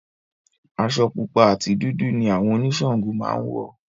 Aṣọ pupa àti dúdú ni àwọn oníṣàngó máa ń wọ̀